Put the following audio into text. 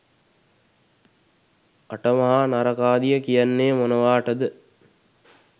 අට මහා නරකාදිය කියන්නේ මොනවාටද?